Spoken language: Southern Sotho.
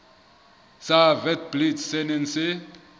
sa witblits se neng se